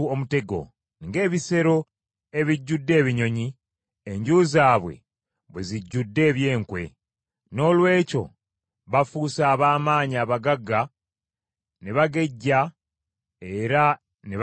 Ng’ebisero ebijjudde ebinyonyi, enju zaabwe bwe zijjudde eby’enkwe. Noolwekyo bafuuse ab’amaanyi abagagga, ne bagejja era ne banyirira.